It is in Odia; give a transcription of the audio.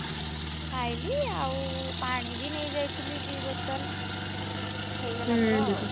ଖାଇଲି ଆଉ ପାଣି ବି ନେଇଯାଇଥିଲି ଦି ବୋତଲ୍, ହେଇଗଲା ମୋର ଆଉ।